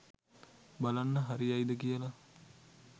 බලන්න හරියයිද කියල.